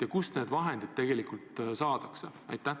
Ja kust need vahendid tegelikult saadakse?